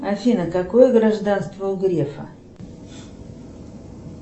афина какое гражданство у грефа